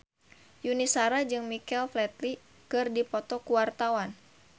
Yuni Shara jeung Michael Flatley keur dipoto ku wartawan